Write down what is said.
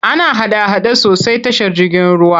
Ana hada-hada sosai tashar jirgin ruwa.